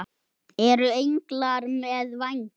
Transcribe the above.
Eru englar með vængi?